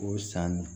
O san